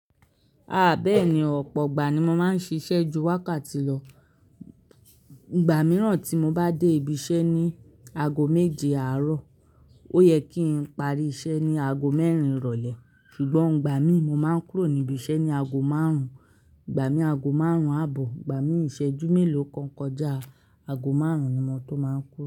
A bẹ́ẹ̀ni, ọ̀pọ̀ ìgbà ni mo máa ń ṣiṣẹ́ ju wákàtí lọ. Ìgbà mìíràn tí mo bá dé ibi iṣẹ́ ní aago méje àárọ̀, ó yẹ kí n parí iṣẹ́ ní aago mẹ́rin ìrọ̀lẹ́ ṣùgbọ́n ìgbà mín mo máa ń kúrò ní ibi iṣẹ́ ní aago márùn-ún, ìgbà min aago márùn-ún ààbọ̀, ìgbà min ìṣẹ́jú mélòó kan kọjá aago márùn-ún ni mo tó máa ń kúrò.